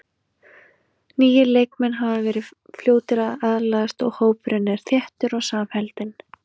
Nýir leikmenn hafa verið fljótir að aðlagast og hópurinn er þéttur og samheldinn.